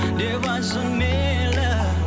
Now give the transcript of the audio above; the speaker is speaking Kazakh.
деп айтсын мейлі